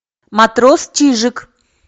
матрос чижик